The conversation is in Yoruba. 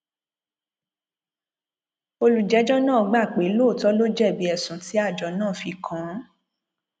olùjẹjọ náà gbà pé lóòótọ ló jẹbi ẹsùn tí àjọ náà fi kàn án